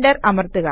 enter അമർത്തുക